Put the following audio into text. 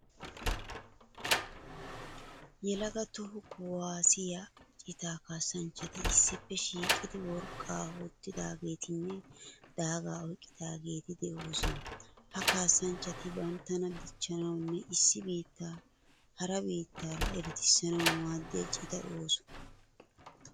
Yelaga toho kuwaassiya citaa kaassanchchati issippe shiiqidi woriqqaa wottidaageetinne daagaa oyqqidaageeti de'oosona. Ha kaassanchchati banttana dichchanawunne issi biittaa hara biittaara eretissanawu maaddiya citaa ooso.